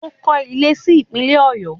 Ó kọ́ ilé si Ìpínlẹ̀ Ọ̀yọ́